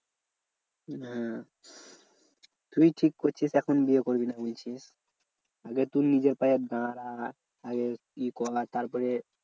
হ্যাঁ তুই ঠিক করছিস এখন বিয়ে করবিনা বলছিস। আগে তুই নিজের পায়ে দাঁড়া আগে ই করা, তারপরে